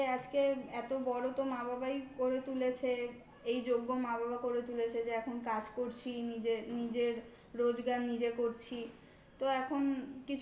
যে আজকে এত বড় তো মা বাবাই করে তুলেছে যোগ্য মা বাবা করে তুলেছে যে এখন কাজ করছি নিজের নিজের রোজগার নিজে করছি তো এখন